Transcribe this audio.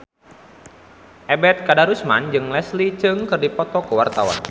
Ebet Kadarusman jeung Leslie Cheung keur dipoto ku wartawan